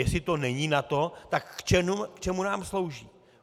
Jestli to není NATO, tak k čemu nám slouží?